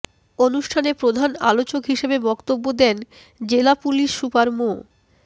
অনুষ্ঠানে প্রধান আলোচক হিসেবে বক্তব্য দেন জেলা পুলিশ সুপার মো